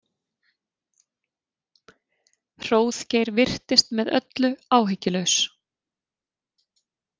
Hróðgeir virtist með öllu áhyggjulaus.